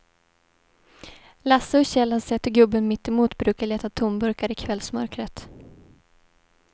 Lasse och Kjell har sett hur gubben mittemot brukar leta tomburkar i kvällsmörkret.